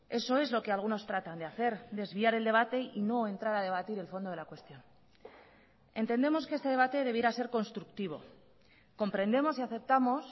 eso es lo que algunos tratan de hacer desviar el debate y no entrar a debatir el fondo de la cuestión entendemos que este debate debiera ser constructivo comprendemos y aceptamos